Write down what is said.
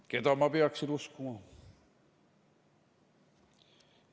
Keda ma peaksin uskuma?